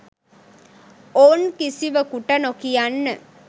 ඔවුන් කිසිවකුට නොකියන්න.